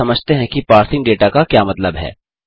अब समझते हैं कि पार्सिंग डेटा का क्या मतलब है